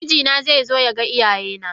Mijina zai zo ya ga iyaye na.